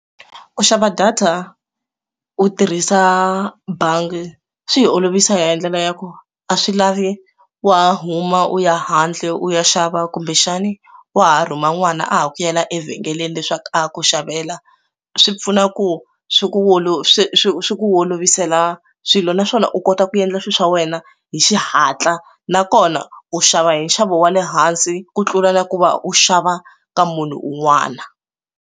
Ku xava data u tirhisa bangi swi yi olovisa ya hi ndlela ya ku a swi lavi wa huma u ya handle u ya xava kumbexani wa ha rhuma n'wana a ha ku yivela evhengeleni leswaku a ku xavela swi pfuna ku swi ku wolo swi swi swi ku olovisela swilo naswona u kota ku endla swilo swa wena hi xihatla nakona u xava hi nxavo wa le hansi ku tlula na ku va u xava ka munhu un'wana.